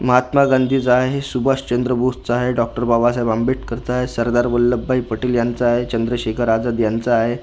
महात्मा गांधीचा आहे सुभाष चंद्र बोसचा आहे डॉ बाबासाहेब आंबेडकरचा आहे सरदार वल्लभभाई पटेल यांचा आहे चंद्रशेखर आझाद यांचा आहे.